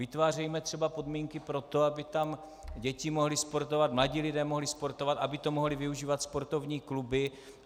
Vytvářejme třeba podmínky pro to, aby tam děti mohly sportovat, mladí lidé mohli sportovat, aby to mohly využívat sportovní kluby.